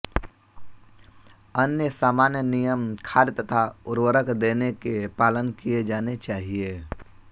अन्य सामान्य नियम खाद तथा उर्वरक देने के पालन किए जाने चाहिए